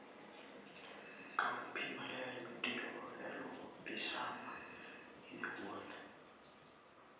Kaw pi maler mitiyogo e lwoko pi sama in e wuoth.